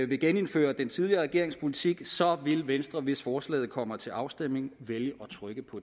vil genindføre den tidligere regerings politik vil venstre hvis forslaget kommer til afstemning vælge at trykke på